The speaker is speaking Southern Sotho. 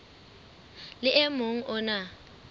le o mong o na